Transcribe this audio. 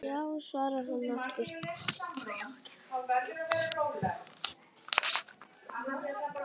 Já svarar hann aftur.